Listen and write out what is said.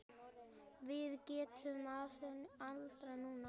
Við getum aðeins andað núna.